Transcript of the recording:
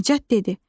Nicat dedi.